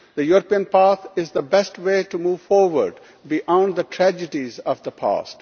The European path is the best way to move forward beyond the tragedies of the past.